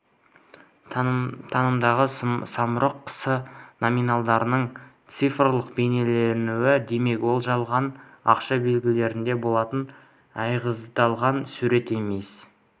танымдағы самұрық құсы номиналдың цифрлық бейнеленуі демек ол жалған ақша белгілерінде болатын айғыздалған сурет емес